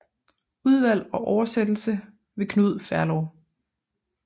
Udvalg og oversættelse ved Knud Ferlov